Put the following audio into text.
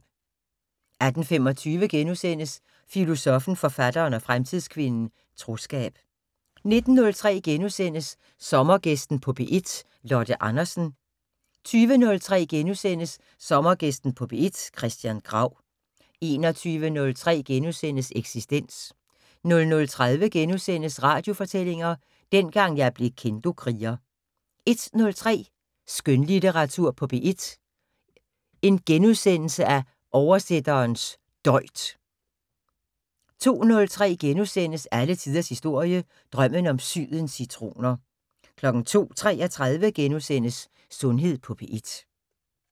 18:25: Filosoffen, Forfatteren og Fremtidskvinden - Troskab * 19:03: Sommergæsten på P1: Lotte Andersen * 20:03: Sommergæsten på P1: Christian Grau * 21:03: Eksistens * 00:30: Radiofortællinger: Dengang jeg blev Kendokriger * 01:03: Skønlitteratur på P1: Oversætterens døjt * 02:03: Alle tiders historie: Drømmen om sydens citroner * 02:33: Sundhed på P1 *